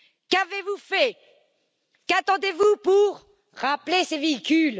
Qu'avez vous fait? Qu'attendez vous pour rappeler ces véhicules?